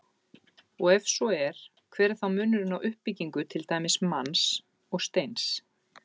Og ef svo er, hver er þá munurinn á uppbyggingu til dæmis manns og steins?